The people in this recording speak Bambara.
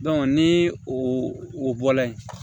ni o o bɔla yen